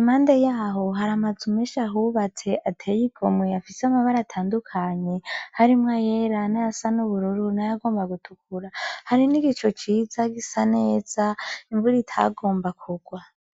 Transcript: impande yaho haramazu menshi ahubatse ateye igomwe afise amabara atandukanye harimwo ayera n'ayasa nubururu nayagomba gutukura hari nigicu ciza gisa neza imvuro itagomba kurwa.